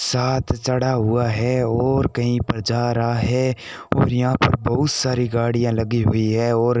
साथ चढ़ा हुआ है और कहीं पर जा रहा है और यहां पर बहुत सारी गाड़ियां लगी हुई है और --